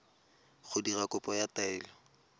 go dira kopo ya taelo